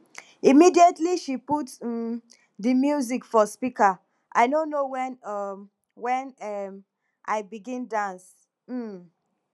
immediately she put um di music for speaker i no know wen um wen um i begin dance um